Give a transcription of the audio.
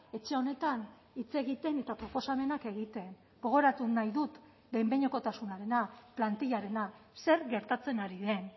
etxe honetan hitz egiten eta proposamenak egiten gogoratu nahi dut behin behinekotasunarena plantillarena zer gertatzen ari den